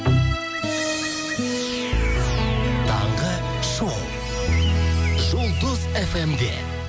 таңғы шоу жұлдыз эф эм де